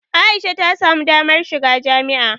A'isha ta samu damar shiga jami'a.